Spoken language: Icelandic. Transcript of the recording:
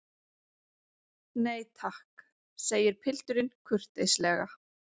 Nei takk, segir pilturinn kurteislega.